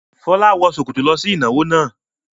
Fọlá wọ ṣòkòtò lọ sí ìnáwó náà.